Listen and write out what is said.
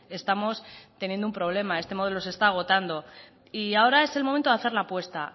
estamos teniendo un problema este modelo se está agotando y ahora es el momento de hacer la apuesta